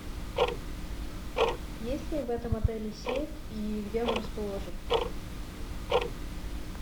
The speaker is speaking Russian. есть ли в этом отеле сейф и где он расположен